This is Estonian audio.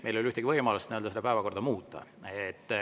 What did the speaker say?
Meil ei ole ühtegi võimalust seda päevakorda muuta.